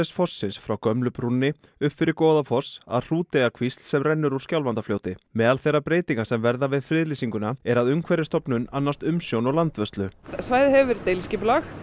fossins frá gömlu brúnni upp fyrir Goðafoss að Hrúteyjarkvísl sem rennur úr Skjálfandafljóti meðal þeirra breytinga sem verða við friðlýsinguna er að Umhverfisstofnun annast umsjón og landvörslu svæðið hefur verið deiliskipulagt